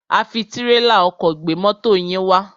A fi tírélà ọkọ̀ gbé mọ́to yín wá.